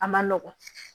A man nɔgɔn